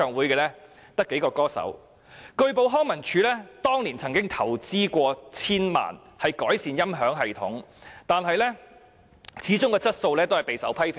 據報康樂及文化事務署當年曾投資千萬元改善大球場的音響系統，但其質素始終備受批評。